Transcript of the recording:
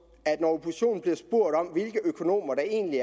at når oppositionen bliver spurgt om hvilke økonomer der egentlig